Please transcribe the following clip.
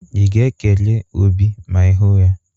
Ị ga-ekele Obi ma ị hu ya?